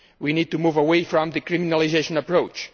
We need to move away from the criminalisation approach.